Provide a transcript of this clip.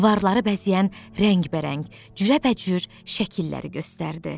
Divarları bəzəyən rəngbərəng, cürəbəcür şəkilləri göstərdi.